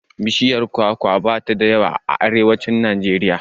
Bishiyar kwaka bata da yawa a arewacin Najeriya.